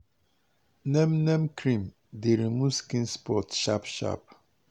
neem neem cream dey remove skin spot sharp sharp.